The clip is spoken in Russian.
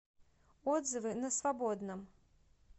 отзывы на свободном